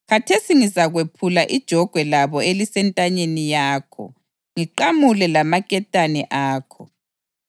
Khathesi ngizakwephula ijogwe labo elisentanyeni yakho, ngiqamule lamaketane akho.”